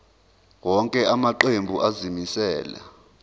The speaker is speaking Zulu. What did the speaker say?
wonke amaqembu azimisela